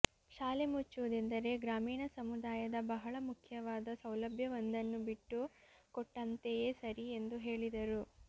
ಶಾಲೆ ಮುಚ್ಚುವುದೆಂದರೆ ಗ್ರಾಮೀಣ ಸಮುದಾಯದ ಬಹಳ ಮುಖ್ಯವಾದ ಸೌಲಭ್ಯವೊಂದನ್ನು ಬಿಟ್ಟುಕೊಂಟ್ಟಂತೆಯೇ ಸರಿ ಎಂದು ಹೇಳಿದರು